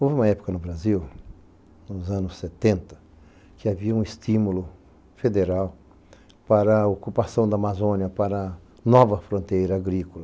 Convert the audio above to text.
Houve uma época no Brasil, nos anos setenta, que havia um estímulo federal para a ocupação da Amazônia, para nova fronteira agrícola.